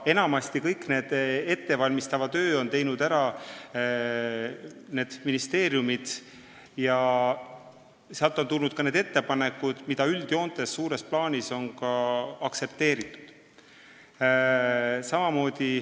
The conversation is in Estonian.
Aga enamasti on ettevalmistava töö teinud ära ministeeriumid ja sealt on tulnud ka need ettepanekud, mida üldjoontes, suures plaanis on aktsepteeritud.